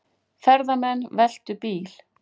Ferðamenn veltu bíl